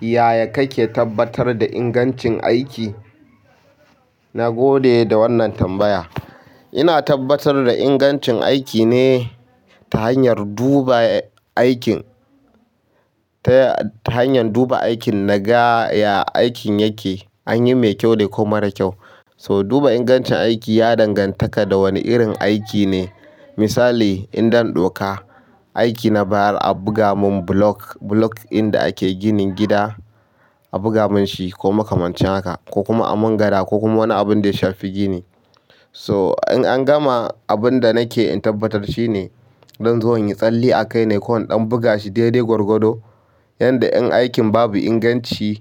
Yaya kake tabbatar da ingancin aiki? Na gode da wannan tambaya. Ina tabbatar da ingancin aiki ne ta hanyar duba aikin, ta ta hanyan duba aikin na ga ya aikin yake, an yi mai kyau ne ko mara kyau. So duba ingancin aiki ya dangantaka da wane irin aiki ne. Misali in don ɗoka, aiki na bayar a buga mun block, block in da ake ginin gida, a buga mun shi ko makamancin haka ko kuma a mun gada ko kuma wani abun da ya shafi gini. So in an gama, abun da nake in tabbatar shine zon zo inyi tsalle a kai ne ko in ɗan buga shi dai-dai gwargwado, yanda in aikin babu inganci